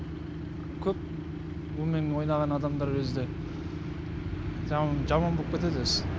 көп онымен ойнаған адамдар өзі де жаман болып кетеді өзі